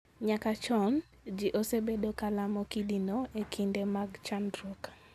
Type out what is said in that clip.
Nyaka a chon, ji osebedo ka lamo kidino e kinde mag chandruok.